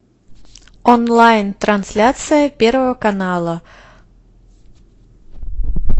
онлайн трансляция первого канала